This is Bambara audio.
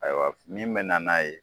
Ayiwa f min bɛ na n'a ye